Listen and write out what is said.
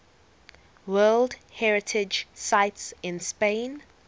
world heritage sites in spain